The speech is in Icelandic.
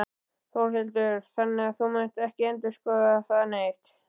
Þórhildur: Þannig að þú munt ekki endurskoða það neitt?